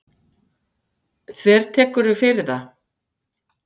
Þvertekurðu fyrir það?